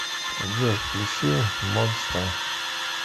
джой включи монста